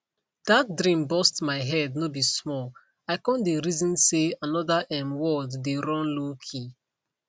that dream burst my head no be small i con dey reason say another um world dey run lowkey